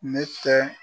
Ne tɛ